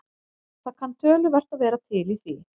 Það kann töluvert að vera til í því.